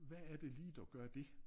Hvad er det lige der gør dét?